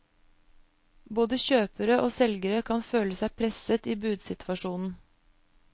Både kjøpere og selgere kan føle seg presset i budsituasjonen.